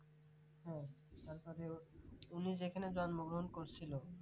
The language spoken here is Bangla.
হ্যাঁ তারপরে উনি যেখানে জন্মগ্রহণ করেছিলেন